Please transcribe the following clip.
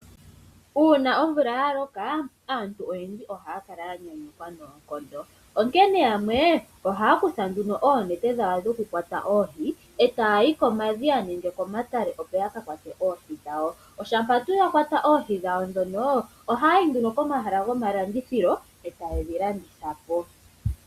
Uuna omvula ya loka aantu oyendji ohaya kala ya nyanyukwa noonkondo onkene yamwe ohaya kutha oonete dhawo dhokuyuula oohi etaya yi komadhiya ya ka kwate oohi dhawo oshampa tuu ya kwata oohi dhawo ndhono ohaya ya yi nduno komahala gomalandithilo etaye dhi landitha po.